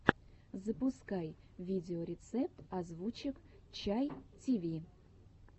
запускай видеорецепт озвучек чай тиви